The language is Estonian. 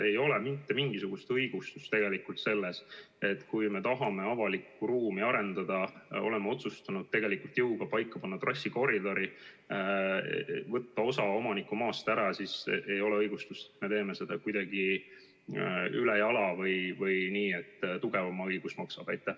Ei ole mitte mingisugust õigustust sellele, et kui me tahame avalikku ruumi arendada, siis me oleme otsustanud tegelikult jõuga paika panna trassikoridori, võtta osa omanike maast ära nii, et me teeme seda kuidagi ülejala või nii, et tugevama õigus maksab.